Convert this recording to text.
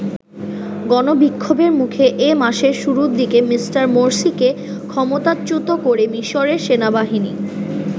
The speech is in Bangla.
গণ বিক্ষোভের মুখে এ মাসের শুরুর দিকে মিঃ মোরসিকে ক্ষমতাচ্যুত করে মিশরের সেনাবাহিনী।